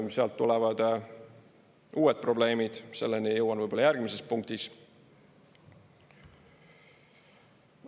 Sealt tulevad uued probleemid, selleni jõuan võib-olla järgmises punktis.